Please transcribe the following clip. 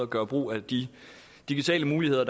gøre brug af de digitale muligheder